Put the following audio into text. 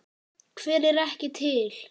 Hver er ekki til?